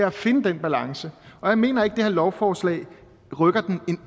at finde den balance og jeg mener ikke at det her lovforslag rykker den